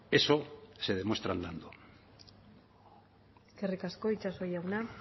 eso se demuestra andando eskerrik asko itxaso jauna